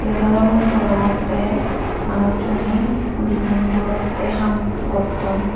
yot olee mui degongoty manusu ne belding goroty ham gotton.